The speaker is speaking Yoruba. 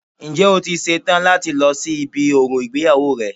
Ǹjẹ́ o ti ṣe tán láti lọ sí ibi orò ìgbéyàwó rẹ